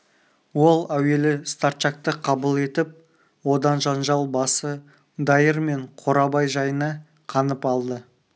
ол әуелі старчакты қабыл етіп одан жанжал басы дайыр мен қорабай жайына қанып алды